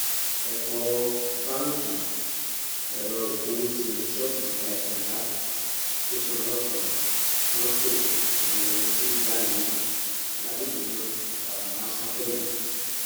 ọpọ báńkì ẹrọ ìpowó atm ṣọọbù ìtajà ńlá tẹsán ọlọpàá mọtò àtàwọn dúkìá miín lágbègbè náà fara kááṣá pẹlú